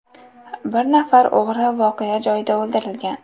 Bir nafar o‘g‘ri voqea joyida o‘ldirilgan.